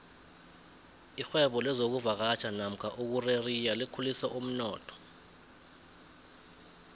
irhwebo lezokuvakatjha nomka ukukureriya likhulise umnotho